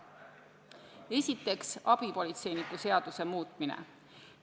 Esiteks, abipolitseiniku seaduse muutmine.